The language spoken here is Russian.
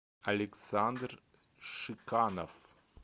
александр шиканов